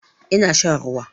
Ina shan ruwa